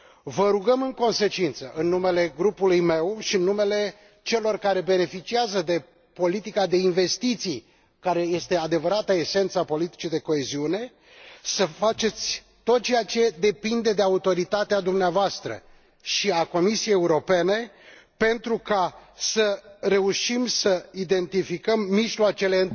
Vă rugăm, în consecință, în numele grupului meu și în numele celor care beneficiază de politica de investiții, care este adevărata esență a politicii de coeziune, să faceți tot ceea ce depinde de autoritatea dumneavoastră și a Comisiei Europene pentru ca să reușim să identificăm mai întâi mijloacele